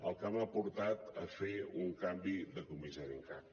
el que m’ha portat a fer un canvi de comissari en cap